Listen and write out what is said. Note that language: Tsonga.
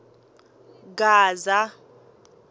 gaza